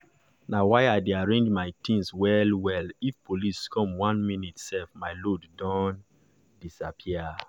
na why i dey arrange my things well-well if police come one minute self my load don disappear.